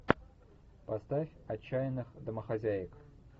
поставь отчаянных домохозяек